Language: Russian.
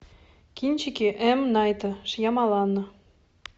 кинчики м найта шьямалана